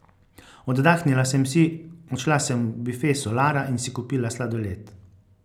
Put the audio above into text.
Oddahnila sem si, odšla sem v bife Solara in si kupila sladoled.